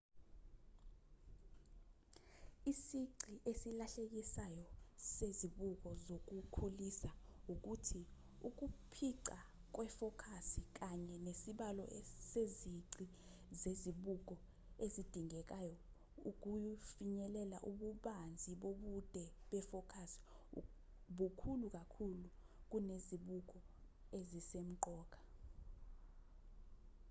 isici esilahlekelisayo sezibuko zokukhulisa ukuthi ukuphica kwefokasi kanye nesibalo sezici zezibuko ezidingekayo ukufinyelela ububanzi bobude befokasi bukhulu kakhulu kunezibuko ezisemqoka